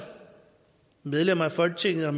medlemmer af folketinget